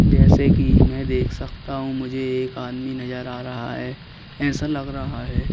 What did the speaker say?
जैसे कि मैं देख सकता हूं मुझे एक आदमी नजर आ रहा है ऐसा लग रहा है।